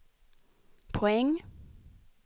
poäng